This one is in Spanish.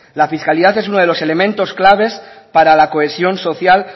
la fiscalidad es uno de los elementos claves para la cohesión social